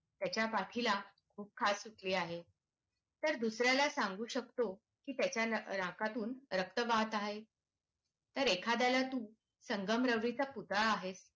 की त्याच्या पाठी ला खूप खास सुटली आहे तर दुसर् याला सांगू शकतो की त्याच्या नाकातून रक्त वाहत आहे तर एखाद्या ला तू संगमरवरी चा आहेस